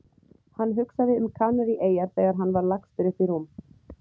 Hann hugsaði um Kanaríeyjar þegar hann var lagstur upp í rúm.